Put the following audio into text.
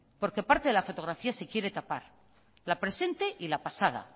porque parte de la fotografía se quiere tapar la presente y la pasada